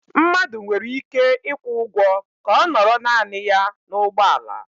Mmadụ nwere ike ịkwụ ụgwọ ka ọ nọrọ naanị ya n'ụgbọala